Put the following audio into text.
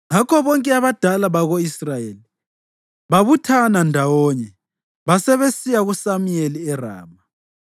Ngakho bonke abadala bako-Israyeli babuthana ndawonye basebesiya kuSamuyeli eRama.